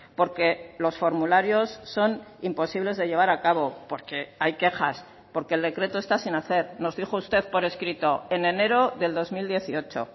porque los formularios son imposibles de llevar a cabo porque hay quejas porque el decreto está sin hacer nos dijo usted por escrito en enero del dos mil dieciocho